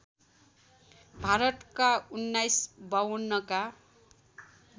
भारतका १९५२ का